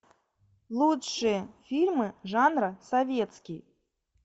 лучшие фильмы жанра советский